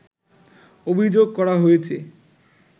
অভিযোগ করা হয়েছে